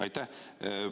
Aitäh!